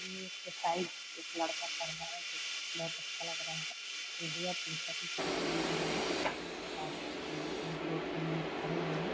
ये एक्सरसाइज एक लड़का कर रहा है जो कि बहुत अच्छा लग रहा है अपने शरीर को ध्यान दिया है और जो कि दो-तीन लोग खड़े हैं लोग ।